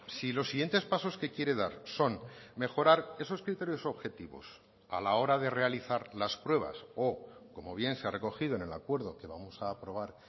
si los siguientes pasos que quiere dar son mejorar esos criterios objetivos a la hora de realizar las pruebas o como bien se ha recogido en el acuerdo que vamos a aprobar